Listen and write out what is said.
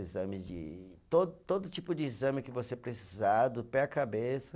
Exames de, todo, todo tipo de exame que você precisar, do pé à cabeça.